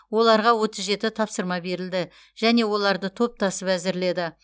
оларға отыз жеті тапсырма берілді және оларды топтасып әзірледі